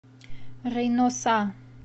рейноса